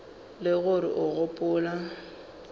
e le gore o gopola